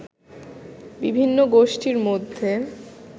বিভিন্ন গোষ্ঠীর মধ্যে